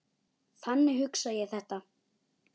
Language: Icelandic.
Þannig hugsa ég þetta.